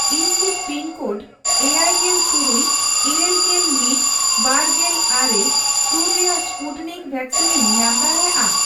ᱤᱧ ᱠᱤ ᱯᱤᱱᱠᱳᱰ ᱮᱭᱟᱭᱜᱮᱞ ᱛᱩᱨᱩᱭ ,ᱤᱨᱟᱹᱞᱜᱮᱞ ᱢᱤᱛ ,ᱵᱟᱨᱜᱮᱞ ᱟᱨᱮ ᱥᱩᱨ ᱨᱮᱭᱟᱜ ᱥᱯᱩᱴᱱᱤᱠ ᱣᱮᱠᱥᱤᱱᱤᱧ ᱧᱟᱢ ᱫᱟᱲᱮᱭᱟᱜᱼᱟ ᱾